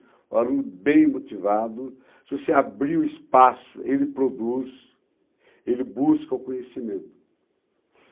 O aluno bem motivado, se você abrir o espaço, ele produz, ele busca o conhecimento.